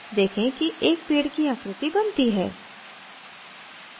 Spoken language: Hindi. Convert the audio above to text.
देखें कि एक पेड़ की आकृति बनती है